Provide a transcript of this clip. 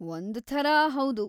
ಒಂದ್‌ ಥರ ಹೌದು.